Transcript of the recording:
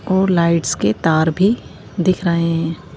और लाइट्स के तार भी दिख रहे हैं।